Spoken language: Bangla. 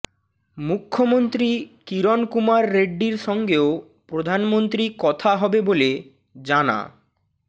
মুখ্যমন্ত্রী কিরণ কুমার রেড্ডির সঙ্গেও প্রধানমন্ত্রী কথা হবে বলে জানা